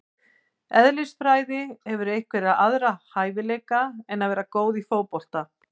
Eðlisfræði Hefurðu einhverja aðra hæfileika en að vera góð í fótbolta?